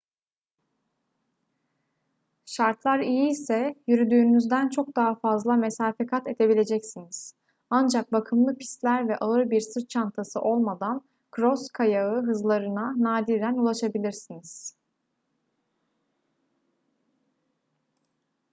şartlar iyiyse yürüdüğünüzden çok daha fazla mesafe kat edebileceksiniz ancak bakımlı pistler ve ağır bir sırt çantası olmadan kros kayağı hızlarına nadiren ulaşabilirsiniz